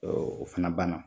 Ɔ o fana banna